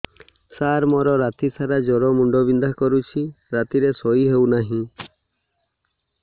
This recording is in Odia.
ସାର ମୋର ରାତି ସାରା ଜ୍ଵର ମୁଣ୍ଡ ବିନ୍ଧା କରୁଛି ରାତିରେ ଶୋଇ ହେଉ ନାହିଁ